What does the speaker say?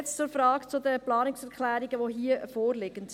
Jetzt zur Frage der Planungserklärungen, die hier vorliegen: